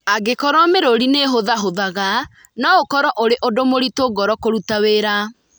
Angĩkorũo mĩrũri nĩ ĩhũthahũthaga, no ũkorũo ũrĩ ũndũ mũritũ ngoro kũruta wĩra.